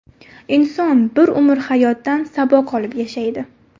Inson bir umr hayotdan saboq olib yashaydi.